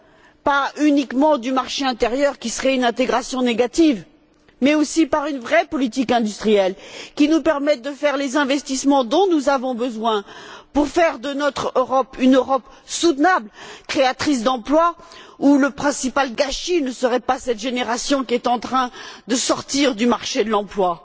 Elle ne doit pas uniquement tenir compte du marché intérieur, ce qui serait une intégration négative. Ces solutions doivent également prévoir une vraie politique industrielle, qui nous permette de réaliser les investissements dont nous avons besoin, pour faire de notre Europe une Europe soutenable, créatrice d'emplois, où le principal gâchis ne serait pas cette génération qui est en train de sortir du marché de l'emploi.